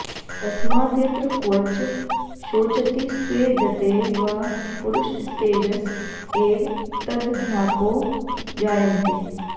तस्माद्यत्र क्वच शोचति स्वेदते वा पुरुषस्तेजस एव तदध्यापो जायन्ते